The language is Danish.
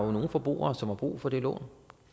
er nogle forbrugere som har brug for det lån